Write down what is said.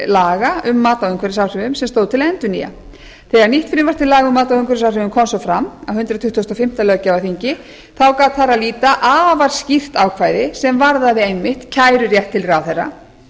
laga um mat á umhverfisáhrifum sem stóð til að endurnýja þegar nýtt frumvarp til laga um mat á umhverfisáhrifum kom svo fram á hundrað tuttugasta og fimmta löggjafarþingi þá gat þar að líta afar skýrt ákvæði sem varðaði einmitt kærurétt til ráðherra